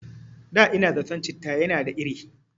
Da ina zaton citta yana da iri